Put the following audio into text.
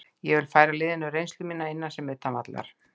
Ég vil færa liðinu reynslu mína, innan sem utan vallar.